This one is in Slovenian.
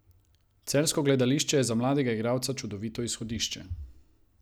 Celjsko gledališče je za mladega igralca čudovito izhodišče.